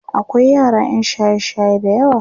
akwai yara ƴan shaye shaye da yawa